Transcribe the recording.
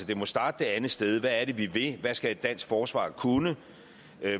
det må starte det andet sted hvad er det vi vil hvad skal et dansk forsvar kunne